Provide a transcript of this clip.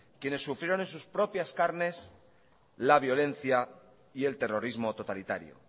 quienes sufrieron en sus propias carnes la violencia y el terrorismo totalitario